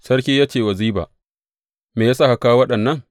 Sarki ya ce wa Ziba, Me ya sa ka kawo waɗannan?